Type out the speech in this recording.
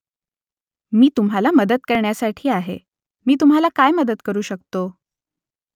मी तुम्हाला मदत करण्यासाठी आहे मी तुम्हाला काय मदत करू शकतो ?